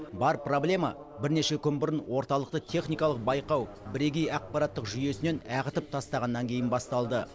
бар проблема бірнеше күн бұрын орталықты техникалық байқау бірегей ақпараттық жүйесінен ағытып тастағаннан кейін басталды